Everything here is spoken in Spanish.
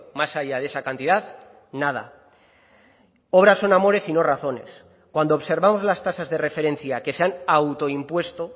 más allá de esa cantidad nada obras son amores y no razones cuando observamos las tasas de referencia que se han autoimpuesto